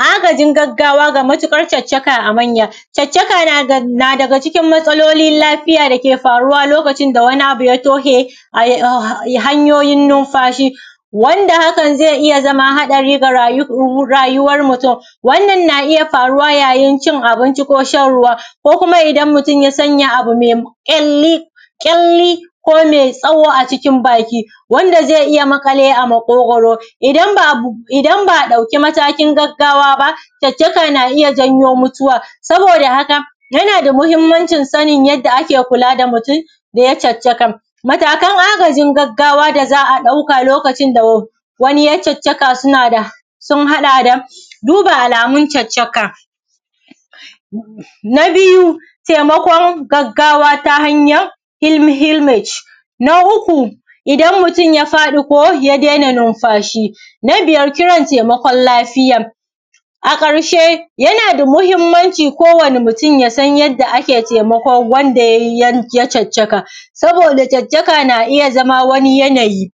Agajin gaggawa na matuƙan caccaka na daga cikin matsalolin lafiya dake farawa loikacin da abu ya toshe hanyoyin nunfashi wanda haka zai iya zama haɗari ga rayuwan mutun wannan na iya farawa yayin cin abinci ko ruwa ko kuma ida mutun ya sanya ƙyalli ko mɛ tsaho a cinkin baki wanda zai iya maƙale wa a maƙogwaro idan ba a ɗauki matakin gaggawa ba caccakan na iya zanyo mutuwa saboda haka yanda mahimmancin sanin yanda ake kula da mutun in ya yi caccaka a wajajen gaggawa da za a ɗauka lokacin da wannan ya yi caccaka suna da duba alamun caccaka na biyu taimakon gaggawa ga ta hanyan hilma na uku idan mutun ya faɗi ko ya dena nunfashi na biyar kiran taimakon lafiya a ƙarshe yana da mahimmancin kowani mutun ya san yanda ake taimakon wa’enda ya yi caccaka saboda caccaka na’iya zama wani yanayi